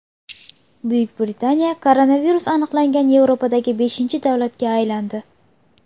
Buyuk Britaniya koronavirus aniqlangan Yevropadagi beshinchi davlatga aylandi.